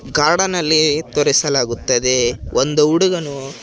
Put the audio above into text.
Garden ಅಲ್ಲಿ ತೋರಿಸಲಾಗುತ್ತದೆ ಒಂದು ಹುಡುಗನು.